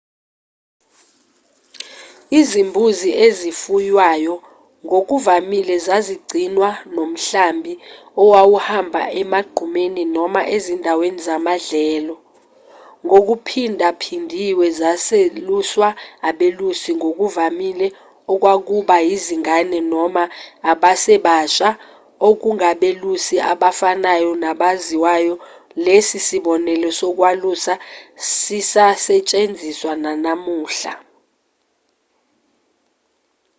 izimbuzi ezifuywayo ngokuvamile zazigcinwa nomhlambi owawuhamba emagqumeni noma ezindaweni zamadlelo ngokuphindaphindiwe zazeluswa abelusi ngokuvamile okwakuba izingane noma abasebasha okungabelusi abafanayo nabaziwayo lesi sibonelo sokwalusa sisasentshenziswa nanamuhla